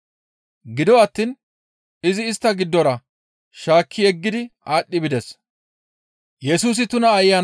Gido attiin izi istta giddora shaakki yeggidi aadhdhi bides.